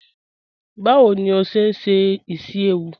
Bawo ni o ṣe n ṣe isi-ewu?